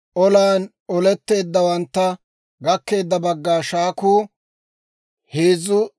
Olan oletteeddawantta gakkeedda bagga shaakuu 337,500 dorssatuwaa;